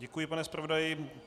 Děkuji, pane zpravodaji.